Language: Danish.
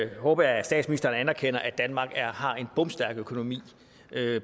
håber jeg at statsministeren anerkender at danmark har en bomstærk økonomi